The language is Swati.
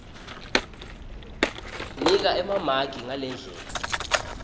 nika emamaki ngalendlela